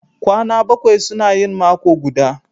Kwana bakwai suna yin mako guda